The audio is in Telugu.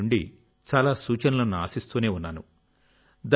నేను మీ నుండి చాలా సూచనలను ఆశిస్తూనే ఉన్నాను